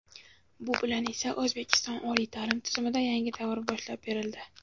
Bu bilan esa – O‘zbekiston oliy ta’lim tizimida yangi davr boshlab berildi.